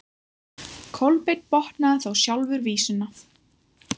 Kolbeinn botnaði þá sjálfur vísuna: